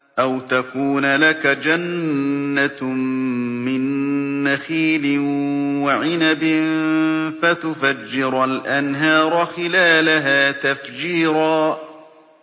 أَوْ تَكُونَ لَكَ جَنَّةٌ مِّن نَّخِيلٍ وَعِنَبٍ فَتُفَجِّرَ الْأَنْهَارَ خِلَالَهَا تَفْجِيرًا